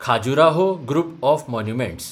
Khajuraho group of monuments